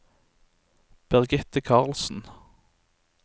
Birgitte Karlsen